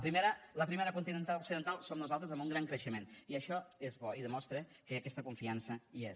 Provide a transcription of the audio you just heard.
però la primera continental occidental som nosaltres amb un gran creixement i això és bo i demostra que aquesta confiança hi és